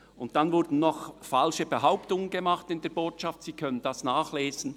Zudem wurden in der Botschaft noch falsche Behauptungen gemacht, Sie können dies nachlesen.